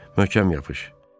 Möhkəm yapış.